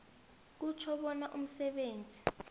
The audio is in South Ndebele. kutjho bona umsebenzi